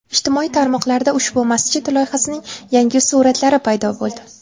Ijtimoiy tarmoqlarda ushbu masjid loyihasining yangi suratlari paydo boldi.